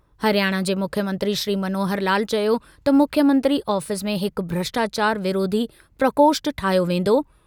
हरियाणा जे मुख्यमंत्री श्री मनोहर लाल चयो त मुख्यमंत्री आफ़ीस में हिकु भ्रष्टाचार विरोधी प्रकोष्ठ ठाहियो वेंदो।